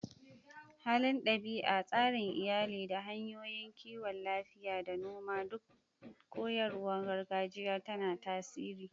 Halin ɗabi'a, tsarin iyali, da hanyoyin kiwon lafiya da noma duk koyarwar gargajiya tana tasiri.